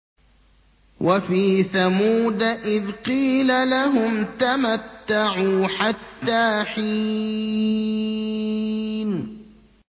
وَفِي ثَمُودَ إِذْ قِيلَ لَهُمْ تَمَتَّعُوا حَتَّىٰ حِينٍ